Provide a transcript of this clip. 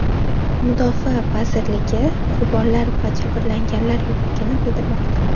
Mudofaa vazirligi qurbonlar va jabrlanganlar yo‘qligini bildirmoqda.